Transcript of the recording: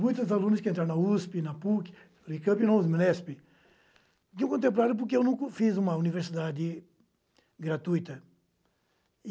Muitos alunos que entraram na usêpê, na pêquê, na unêcampê na unêsêpê, me contemplaram porque eu nunca fiz uma universidade gratuita.